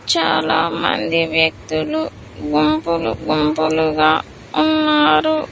చాలామంది వ్యక్తులు గుంపులు గుంపులుగా ఉన్నారు.